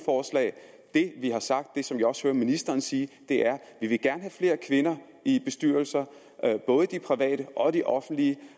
det vi har sagt og som vi også hører ministeren sige er at vi gerne flere kvinder i bestyrelser både de private og de offentlige